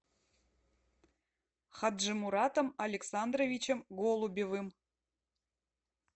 хаджимуратом александровичем голубевым